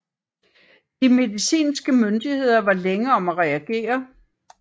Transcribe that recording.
De medicinske myndigheder var længe om at reagere